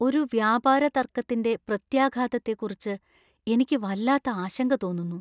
ഒരു വ്യാപാരതർക്കത്തിന്‍റെ പ്രത്യാഘാതത്തെക്കുറിച്ച് എനിക്ക് വല്ലാത്ത ആശങ്ക തോന്നുന്നു.